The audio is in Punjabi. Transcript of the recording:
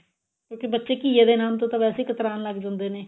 ਕਿਉਂਕਿ ਬੱਚੇ ਘੀਏ ਦੇ ਨਾਮ ਤੋਂ ਵੈਸੇ ਹੀ ਕਤਰਾਣ ਲੱਗ ਜਾਂਦੇ ਨੇ